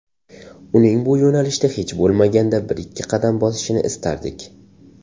Uning bu yo‘nalishda hech bo‘lmaganda birikki qadam bosishini istardik.